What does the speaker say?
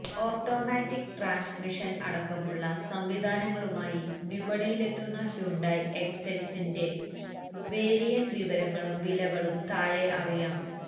automatic transmission അടക്കമുള്ള സംവിധാനങ്ങളുമായി വിപണിയിലെത്തിയ ഹ്യൂണ്ടായ് എക്സെന്റിന്റെ വേരിയന്റ് വിവരങ്ങളും വിലകളും താഴെ അറിയാം